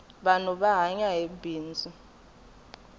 vanhu va hanya hi bindzu